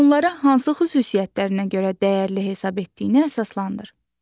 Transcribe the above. Onlara hansı xüsusiyyətlərinə görə dəyərli hesab etdiyinə əsaslandır.